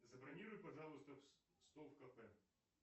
забронируй пожалуйста стол в кафе